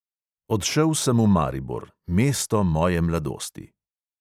Odšel sem v maribor, "mesto moje mladosti".